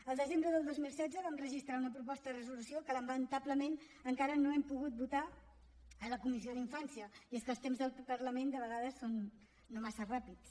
el desembre del dos mil setze vam registrar una proposta de resolució que lamentablement encara no hem pogut votar a la comissió d’infància i és que els temps del parlament de vegades són no massa ràpids